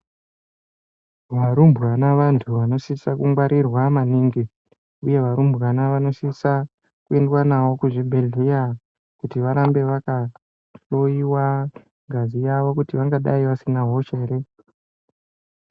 Varumbwana vantu vanosise kungwarirwa maningi. Uye varumbwana vanosisa kuyendwa nawo kuzvibhedhlera kuti varambe vakahloyiwa ngazi yavo kuti vangadayi vasina hosha here.